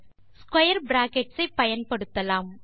square brackets ஐ பயன்படுத்தலாம்